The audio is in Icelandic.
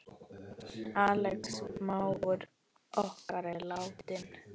Axel mágur okkar er látinn.